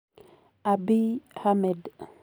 Abiy Ahmed.